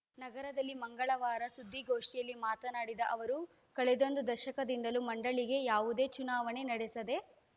ನಗರದಲ್ಲಿ ಮಂಗಳವಾರ ಸುದ್ದಿಗೋಷ್ಠಿಯಲ್ಲಿ ಮಾತನಾಡಿದ ಅವರು ಕಳೆದೊಂದು ದಶಕದಿಂದಲೂ ಮಂಡಳಿಗೆ ಯಾವುದೇ ಚುನಾವಣೆ ನಡೆಸದೇ